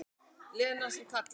Lena sem kallar.